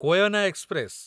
Koyna express